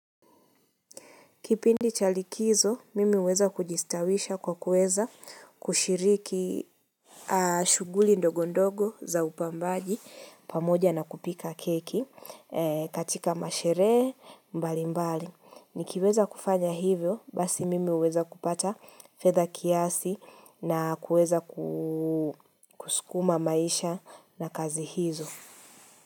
Kipindi cha likizo, mimi huweza kujistawisha kwa kuweza kushiriki shuguli ndogo ndogo za upambaji pamoja na kupika keki katika masherehe mbali mbali. Nikiweza kufanya hivyo, basi mimi huweza kupata fedha kiasi na kuweza kusukuma maisha na kazi hizo.